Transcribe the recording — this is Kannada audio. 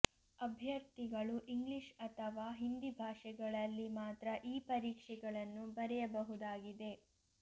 ಅಭ್ಯರ್ಥಿಗಳು ಇಂಗ್ಲಿಷ್ ಅಥವಾ ಹಿಂದಿ ಭಾಷೆಗಳಲ್ಲಿ ಮಾತ್ರ ಈ ಪರೀಕ್ಷೆಗಳನ್ನು ಬರೆಯಬಹುದಾಗಿದೆ